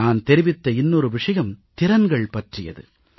நான் தெரிவித்த இன்னொரு விஷயம் திறன்கள் பற்றியது